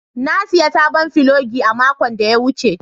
Na sayi sabon filogi a makon da ya wuce.